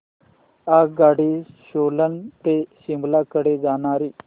आगगाडी सोलन ते शिमला कडे जाणारी